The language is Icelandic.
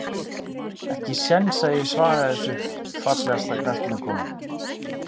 Ekki séns að ég svari þessu Fallegasta knattspyrnukonan?